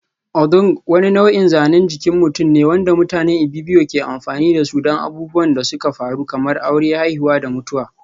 Odung wani nau'in zanen jikin mutum ne wanda mutanen Ibibio ke amfani da su don abubuwan da suka faru kamar aure, haihuwa da mutuwa.